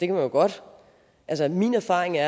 jo godt min erfaring er